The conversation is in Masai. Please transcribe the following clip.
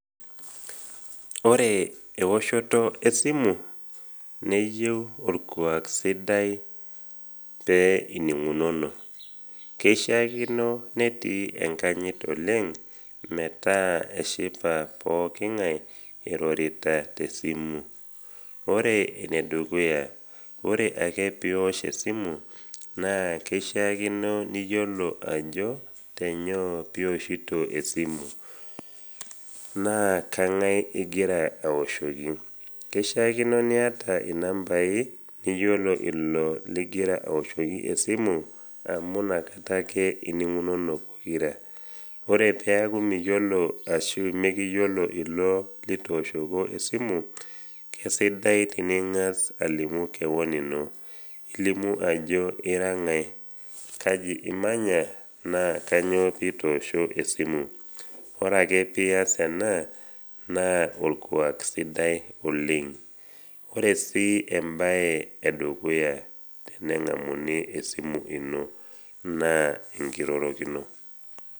Ore eoshoto esimu neyeu olkuak sidai pee ining’unono . Keishaakino netii enkanyit oleng metaa eshipa pookin ng’ai iroritata tesimu. Ore enedukuya, ore ake pios esimu naa keishaakino niyiolo ajo tenyoo pioshito esimu naa kang’ai igira aoshoki. Keishaakino niata inambai niyiolo ilo ligira aoshoki esimu amu nakata ake ining’unono pokira. Ore peaku miyiolo ashu mekiyiolo ilo litooshoko esimu, kesidai tening’as alimu kewon ino, ilimu ajo ira ng’ai, kaji imanya naa kanyoo pitoosho esimu. Ore ake pias ena, naa olkuak sidai oleng. Ore sii embae edukuya teneng’amuni esimu ino, naa enkirorokino.